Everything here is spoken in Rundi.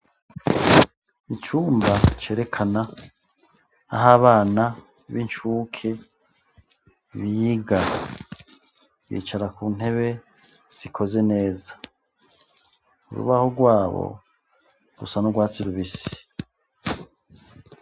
Icumba cerekana aho abana b'incuke biga. Bicara ku ntebe zikoze neza, urubaho rwabo rusa n'urwatsi rubisi.